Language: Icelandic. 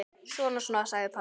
Svona, svona, sagði pabbi.